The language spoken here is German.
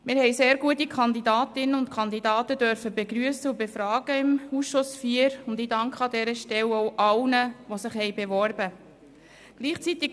Der Ausschuss IV hat sehr gute Kandidatinnen und Kandidaten begrüssen und befragen dürfen, und ich danke an dieser Stelle allen, die sich beworben haben.